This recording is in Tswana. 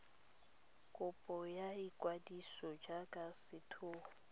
kopo ya ikwadiso jaaka setheo